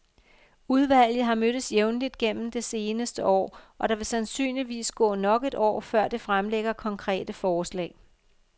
Udvalget har mødtes jævnligt igennem det seneste år, og der vil sandsynligvis gå nok et år, før det fremlægger konkrete forslag.